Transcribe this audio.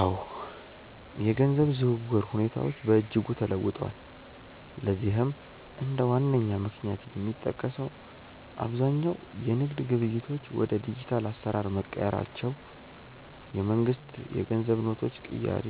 አዎ፣ የገንዘብ ዝውውር ሁኔታዎች በእጅጉ ተለውጠዋል። ለዚህም እንደ ዋነኛ ምክንያት የሚጠቀሰው አብዛኛው የንግድ ግብይቶች ወደ ዲጂታል አሰራር መቀየራቸው፣ የመንግስት የገንዘብ ኖቶች ቅያሬ፣